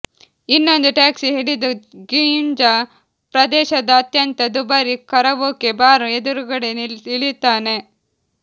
ಇನ್ನೊಂದು ಟಾಕ್ಸಿ ಹಿಡಿದು ಗಿಂಝಾ ಪ್ರದೇಶದ ಅತ್ಯಂತ ದುಬಾರಿ ಕರವೋಕೆ ಬಾರ್ ಎದುರುಗಡೆ ಇಳಿಯುತ್ತಾನೆ